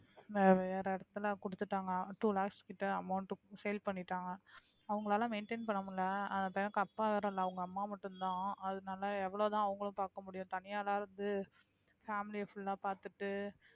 வேற இடத்துல கொடுத்துட்டாங்க two lakhs கிட்ட amount sale பண்ணிட்டாங்க அவங்களால maintain பண்ண முடியலை அந்த பையனுக்கு அப்பா யாரும் இல்லை அவங்க அம்மா மட்டும்தான் அதனால எவ்வளவுதான் அவங்களும் பார்க்க முடியும் தனியாளா இருந்து family யை full ஆ பார்த்துட்டு